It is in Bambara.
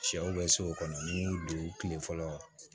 Sɛw bɛ so kɔnɔ kile fɔlɔ